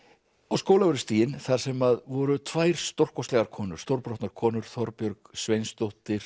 á Skólavörðustíginn þar sem að voru tvær stórkostlegar konur stórbrotnar konur Þorbjörg Sveinsdóttir